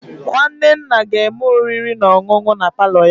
Nwanne nna ga-eme oriri na ọṅụṅụ na palo ya.